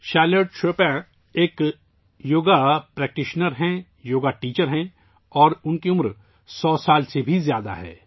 Charlotte Chopa ایک yoga practitioner, yoga teacher ہیں اور ان کی عمر 100 سال سے زیادہ ہے